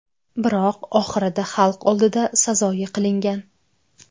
Biroq oxirida xalq oldida sazoyi qilingan.